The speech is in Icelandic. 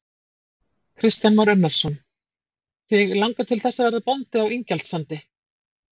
Kristján Már Unnarsson: Þig langar til þess að verða bóndi á Ingjaldssandi?